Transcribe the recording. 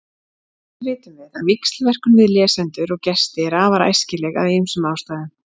Eins vitum við að víxlverkun við lesendur og gesti er afar æskileg af ýmsum ástæðum.